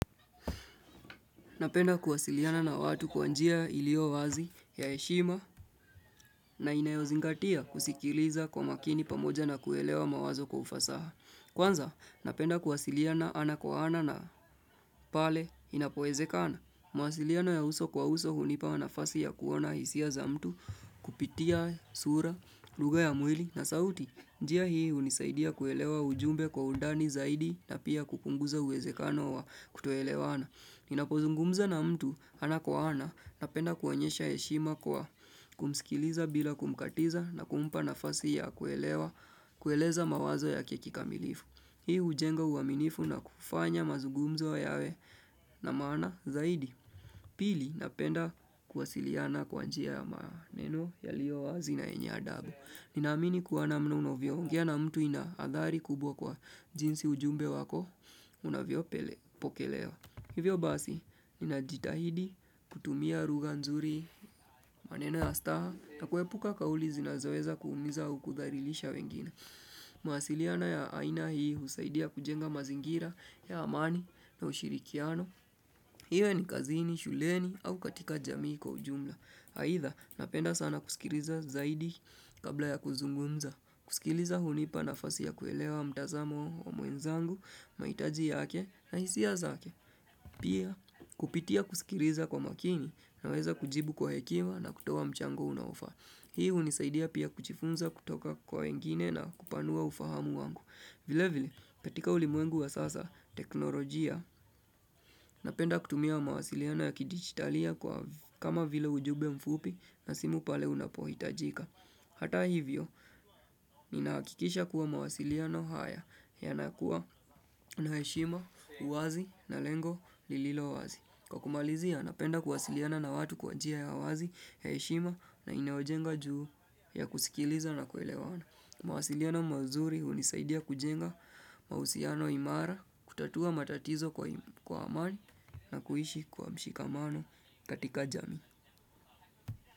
Napenda kuwasiliana na watu kwa njia ilio wazi ya heshima na inayozingatia kusikiliza kwa makini pamoja na kuelewa mawazo kwa ufasaha. Kwanza, napenda kuwasiliana ana kwa ana na pale inapowezekana. Mawasiliano ya uso kwa uso hunipa nafasi ya kuona hisia za mtu kupitia sura, lugha ya mwili na sauti. Njia hii unisaidia kuelewa ujumbe kwa undani zaidi na pia kukupunguza uwezekano wa kutoelewana. Ninapozungumza na mtu ana kwa ana napenda kuonyesha heshima kwa kumsikiliza bila kumkatiza na kumpa nafasi ya kuelewa kueleza mawazo yake kikamilifu. Hii hujenga uaminifu na kufanya mazungumzo yawe na maana zaidi. Pili napenda kuwasiliana kwa njia ya maneno yaliyo wazi na yenye adabu. Ninaamini kwa namna unavyoongea na mtu inaadhari kubwa kwa jinsi ujumbe wako unavyo pele pokelewa. Hivyo basi, ninajitahidi, kutumia lugha nzuri, maneno ya staha, na kuepuka kauli zinazoeza kuumiza au kudhalilisha wengine. Mawasiliano ya aina hii husaidia kujenga mazingira, ya amani, na ushirikiano. Iwe ni kazini, shuleni, au katika jamii kwa ujumla. Aidha, napenda sana kusikiliza zaidi kabla ya kuzungumza. Kusikiliza hunipa nafasi ya kuelewa mtazamo wa mwezangu, mahitaji yake, na hisia zake. Pia kupitia kusikiliza kwa makini naweza kujibu kwa hekima na kutoa mchango unaofa. Hii unisaidia pia kujifunza kutoka kwa wengine na kupanua ufahamu wangu. Vile vile petika ulimwengu wa sasa teknolojia. Napenda kutumia mawasiliano ya kidigitalia kwa kama vile ujumbe mfupi na simu pale unapohitajika. Hata hivyo, ninahakikisha kuwa mawasiliano haya yanakuwa na heshima, uwazi na lengo lililo wazi. Kwa kumalizia, napenda kuwasiliana na watu kwa jia ya uwazi, heshima na inayojenga juu ya kusikiliza na kuelewana. Mawasiliano mazuri hunisaidia kujenga mahusiano imara, kutatua matatizo kwai kwa amani na kuishi kwa mshikamano katika jamii.